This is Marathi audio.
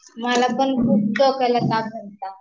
मलापण खूप डोक्याला ताप होता